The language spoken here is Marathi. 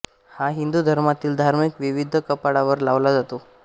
हा हिंदू धर्मातील धार्मिक विधीत कपाळावर लावला जातो